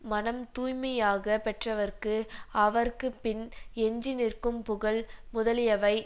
மனம் தூய்மையாக பெற்றவர்க்கு அவர்க்குப் பின் எஞ்சி நிற்கும் புகழ் முதலியவை